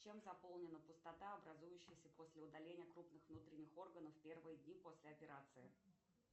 чем заполнена пустота образующаяся после удаления крупных внутренних органов в первые дни после операции